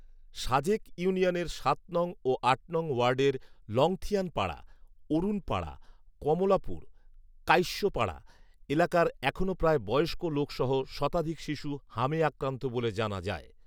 সাজেক ইউনিয়নের সাত নং ও আট নং ওয়ার্ডের লঙথিয়ান পাড়া, অরুন পাড়া, কমলাপুর, কাইশ্যো পাড়া এলাকার এখনো প্রায় বয়স্ক লোকসহ শতাধিক শিশু হামে আক্রান্ত বলে জানা যায়